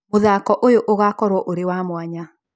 Mũthako ũyũ ũgakorũo ũrĩ wa mwanya